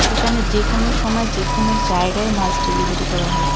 এখানে যেকোনো সময় যেকোনো জায়গায় মাছ ডেলিভারি করা হয়.